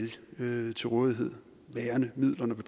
alle til rådighed værende midler når vi